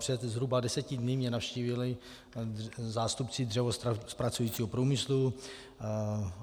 Před zhruba deseti dny mě navštívili zástupci dřevozpracujícího průmyslu.